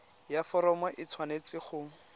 ya foromo e tshwanetse go